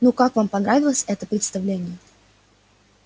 ну как вам понравилось это представление